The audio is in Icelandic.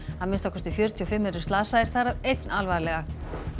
að minnsta kosti fjörutíu og fimm eru slasaðir þar af einn alvarlega